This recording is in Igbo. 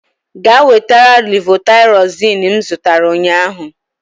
Gaa wetara levotaịrozin m zụtara ụnyaahụ!